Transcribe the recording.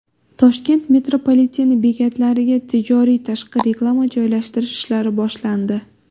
Toshkent metropolitenti bekatlariga tijoriy tashqi reklama joylashtirish ishlari boshlandi.